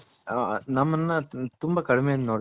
ನಮ್ಮನ ತುಂಬಾ